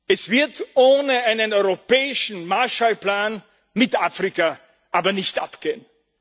Es wird ohne einen europäischen Marshallplan mit Afrika aber nicht abgehen.